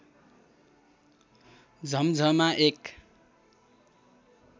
झम्झमा एक